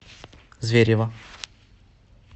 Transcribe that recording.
зверево